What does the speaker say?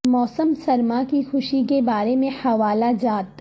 موسم سرما کی خوشی کے بارے میں حوالہ جات